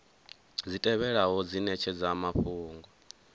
dzi tevhelaho dzi netshedza mafhungo